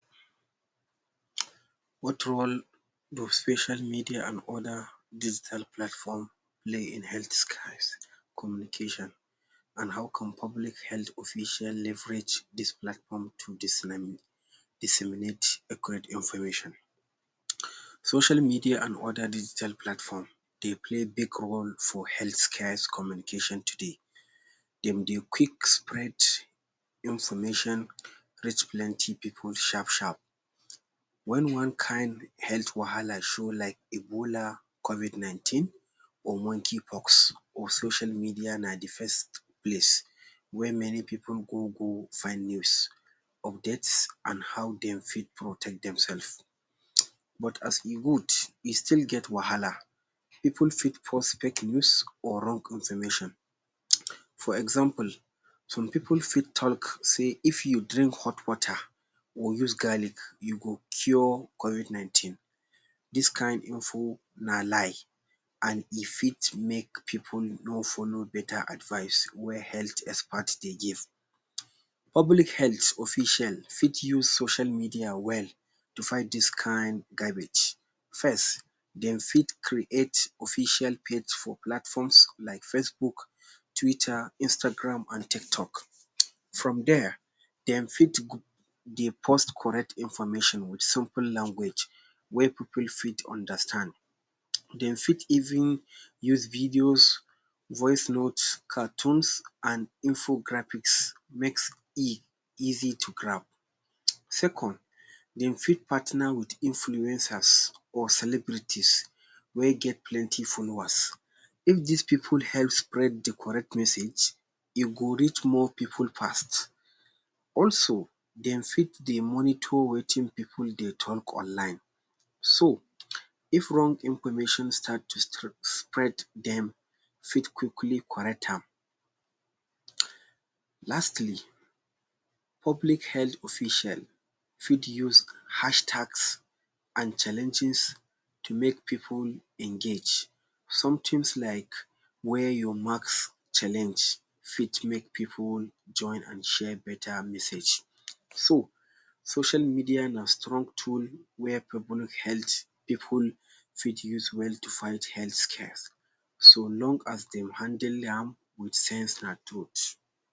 What role does social media and oda digital platform play in healthcare communication and how can public health official leverage dis platform to dissiminate scared information. Social media and oda digital platform dey play big role for health care communication today, dem dey quick spread information reach plenty pipu sharp sharp, wen one kind health wahala show, like ebola, covid 19 or monkey pox, social media na d first place wey many pipu go go find news, update and how dem fit protect dem self, but aas e good e still get wahala, pipu fit post fake news, or wrong information, for example pipu fit talk sey if u drink hot water or use garlic u go cure covid 19, dis kind info nba lie and e fit make pipu no follow beta advice wey expert dey give, publichealth official fit use social media well to fight dis kind gabbage, first dem fit create official page for platforms like facebook, twitter, Instagram and tiktok from there dem fit dey post correct information with simple language, wey pipu fit understand, dem fit even use videos, voicenotes and infographics make e easy to grab, second dem fit partner with influeners or celebrities wey get plenty followers, if dis pipu help spread d correct message e go rech more pipu fast, also dem fit dey monitor wetin pipu dey talk online, so if wrong information start to spread, dem fit quickly start to correct am. Lastly public health official fit use hashtags and challenges to make pipu engage, somethings like wear your mask challenge fit make pipu join and share beta message.social media na strong tool wey public health pipu fit use well to fight health scares, so long as dey handle am with sense and truth.